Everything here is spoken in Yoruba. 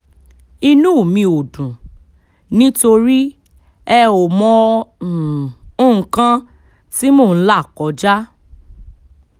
inú mi ò dùn nítorí ẹ ò mọ um nǹkan tí mò ń là kọjá um